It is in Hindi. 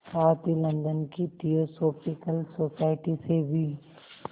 साथ ही लंदन की थियोसॉफिकल सोसाइटी से भी